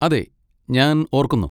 അതെ, ഞാൻ ഓർക്കുന്നു.